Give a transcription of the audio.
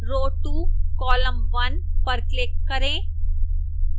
row 2 column 1 पर click करें